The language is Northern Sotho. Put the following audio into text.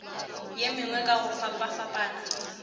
ye mengwe ka go fapafapana